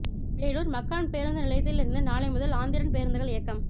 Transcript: வேலூா் மக்கான் பேருந்து நிலையத்தில் இருந்து நாளை முதல் ஆந்திரன் பேருந்துகள் இயக்கம்